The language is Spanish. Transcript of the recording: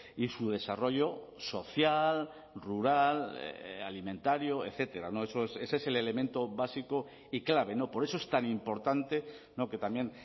y su desarrollo social rural alimentario etcétera ese es el elemento básico y clave no por eso es tan importante que también